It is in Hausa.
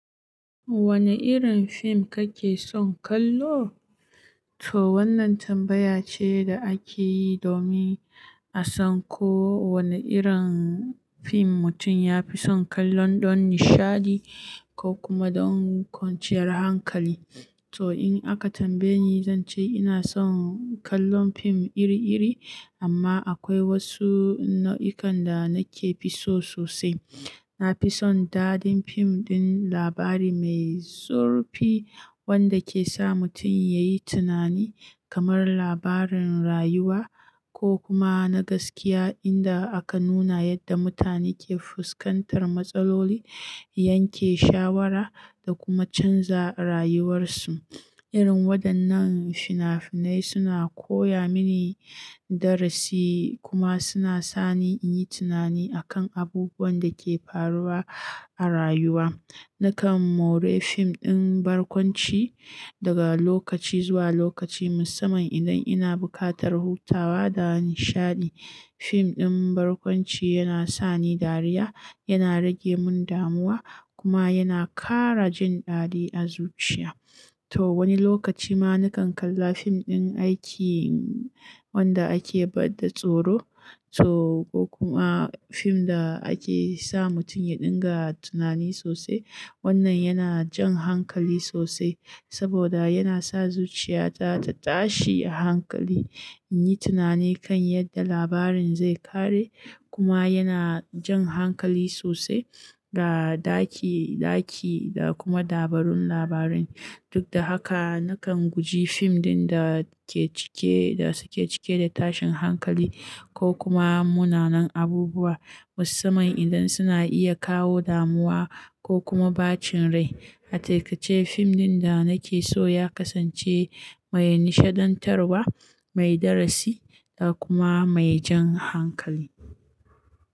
"Wane irin fim kake son kallo?" To wannan tambaya ce da ake yi domin a san ko wane irin fim mutum ya fi son kallon don nishaɗi ko kuma don kwanciyar hankali. To in aka tambaye ni, zan ce ina son kallon fim iri-iri amma akwai wasu nau'ikan da nake so sosai. Na fi son dadin fim ɗin labari mai zurfi wanda ke sa mutum ya yi tunani, kamar labaran rayuwa ko kuma na gaskiya inda aka nuna yadda mutane ke fuskantar matsaloli, yanke shawara da kuma canza rayuwarsu. Irin waɗannan fina-finai suna koya mini darasi kuma suna sa ni in yi tunani akan abubuwan da ke faruwa a rayuwa. Nakan maure fim ɗin barkwanci daga lokaci zuwa lokaci musamman idan ina buƙatar hutawa da nishaɗi. Fim ɗin barkwanci yana sa ni dariya, yana rage mun damuwa kuma yana ƙara jin ɗadi a zuciya. To wani lokaci ma nakan kalla fim ɗin aiki wanda ake bada tsoro to ko kuma fim da ake sa mutum ya dinga tunani sosai. Wannan yana jan hankali sosai saboda yana sa zuciya ta ta tashi a hankali, in yi tunani kan yadda labarin zai ƙare kuma yana jan hankali sosai da ɗaki-ɗaki da kuma dabarun labarai. Duk da haka, nakan guji fim ɗin da ke cike, da suke cike da tashin hankali ko kuma munanan abubuwa musamman idan suna iya kawo damuwa ko kuma bacin rai. A cikace fim ɗin da nake so ya kasance mai nishaɗantarwa, mai darasi da kuma mai jan hankali.